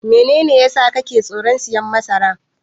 Menene yasa kake tsoron siyan masara?